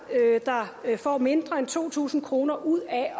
der får mindre end to tusind kroner ud af at